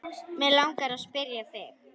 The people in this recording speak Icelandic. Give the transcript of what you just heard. Mig langar að spyrja þig.